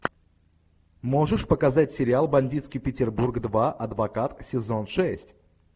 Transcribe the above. можешь показать сериал бандитский петербург два адвокат сезон шесть